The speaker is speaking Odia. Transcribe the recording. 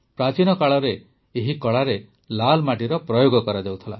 ପ୍ରାଚୀନ କାଳରେ ଏହି କଳାରେ ଲାଲ୍ ମାଟିର ପ୍ରୟୋଗ କରାଯାଉଥିଲା